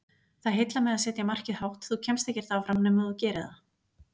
Það heillar mig að setja markið hátt, þú kemst ekkert áfram nema þú gerir það.